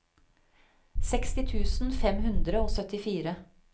seksti tusen fem hundre og syttifire